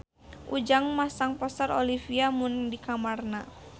Ujang masang poster Olivia Munn di kamarna